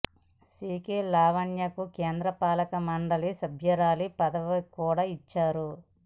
see K Lavanya కు కేంద్ర పాలక మండలి సభ్యురాలి పదవి కూడా ఇచ్చారు